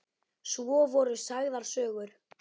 Svo voru sagðar sögur.